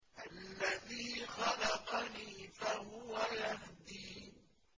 الَّذِي خَلَقَنِي فَهُوَ يَهْدِينِ